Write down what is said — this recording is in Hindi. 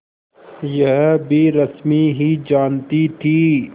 यह भी रश्मि ही जानती थी